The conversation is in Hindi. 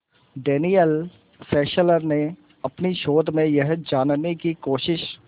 डैनियल फेस्लर ने अपने शोध में यह जानने की कोशिश